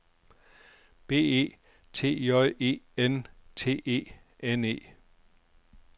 B E T J E N T E N E